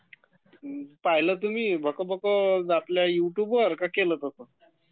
पाहिलं तुम्ही......भकभक आपल्या यूट्युबवर की केलं तुम्ही